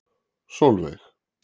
Solveig